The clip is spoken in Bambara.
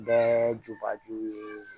Bɛɛ jubajuw ye